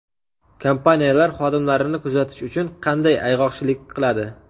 Kompaniyalar xodimlarini kuzatish uchun qanday ayg‘oqchilik qiladi?.